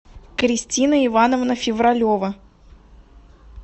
кристина ивановна февралева